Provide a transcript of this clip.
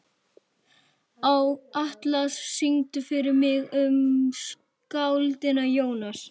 Atlas, syngdu fyrir mig „Um skáldið Jónas“.